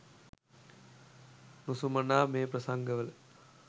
නුසුමනා මේ ප්‍රසංග වල